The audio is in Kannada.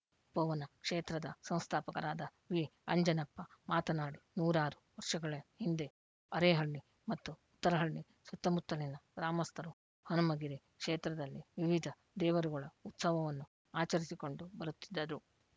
ತಪೋವನ ಕ್ಷೇತ್ರದ ಸಂಸ್ಥಾಪಕರಾದ ವಿಆಂಜನಪ್ಪ ಮಾತನಾಡಿ ನೂರಾರು ವರ್ಷಗಳ ಹಿಂದೆ ಅರೇಹಳ್ಳಿ ಮತ್ತು ಉತ್ತರಹಳ್ಳಿ ಸುತ್ತಮುತ್ತಲಿನ ಗ್ರಾಮಸ್ಥರು ಹನುಮಗಿರಿ ಕ್ಷೇತ್ರದಲ್ಲಿ ವಿವಿಧ ದೇವರುಗಳ ಉತ್ಸವವನ್ನು ಆಚರಿಸಿಕೊಂಡು ಬರುತ್ತಿದ್ದರು